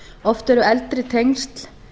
oft eru eldri tengsl